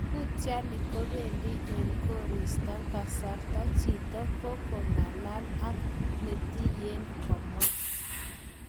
Kutiani kopendi eng korista kasarta jito ko ko ngalalek ak netiyen."komwa.